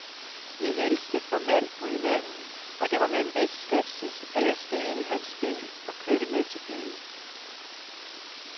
Vi hilste formelt på hinanden, og det var med en vis skepsis, at jeg steg ind i hans bil og kørte med til byen.